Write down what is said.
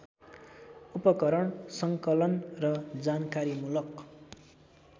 उपकरण सङ्कलन र जानकारीमूलक